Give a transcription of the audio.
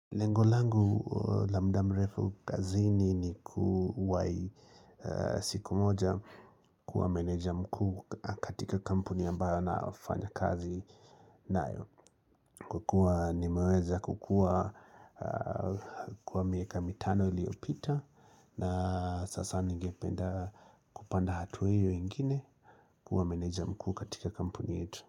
Lengo langu la mda mrefu kazini ni kuwahi siku moja kuwa meneja mkuu katika kampuni ambayo naofanya kazi nayo kukua nimeweza kukua kwa miaka mitano iliopita na Sasa ningependa kupanda hatua hiyo ingine kuwa meneja mkuu katika kampuni yetu.